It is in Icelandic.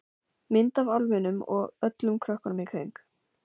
Mynd af álfinum og öllum krökkunum í kring.